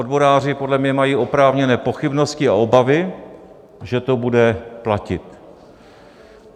Odboráři podle mě mají oprávněné pochybnosti a obavy, že to bude platit.